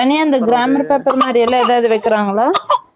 தனியா இந்த gramer test மாரிலாம் ஏதாவது வைக்கிறாங்களா?